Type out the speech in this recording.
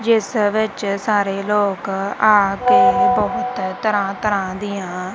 ਜਿਸ ਵਿੱਚ ਸਾਰੇ ਲੋਕ ਆ ਕੇ ਬਹੁਤ ਤਰ੍ਹਾਂ ਤਰ੍ਹਾਂ ਦੀਆਂ--